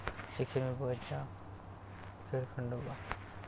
शिक्षण विभागाचा खेळखंडोबा